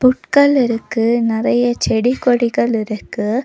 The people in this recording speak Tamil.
புட்கள் இருக்கு நெறையா செடி கொடிகள் இருக்கு.